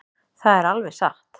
Það er alveg satt.